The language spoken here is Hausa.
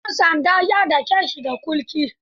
Ɗan sanda ya dake shi da kulki.